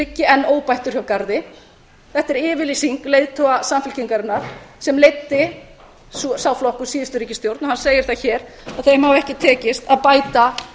liggi enn óbættur hjá garði þetta er yfirlýsing leiðtoga samfylkingarinnar sem leiddi sá flokkur síðustu ríkisstjórn og hann segir það hér að þeim hafi ekki tekist að bæta